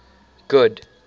good